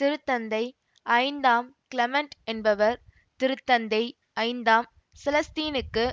திருத்தந்தை ஐந்தாம் கிளமெண்ட் என்பவர் திருத்தந்தை ஐந்தாம் செலஸ்தீனுக்கு